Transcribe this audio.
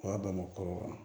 O y'a damana kɔrɔ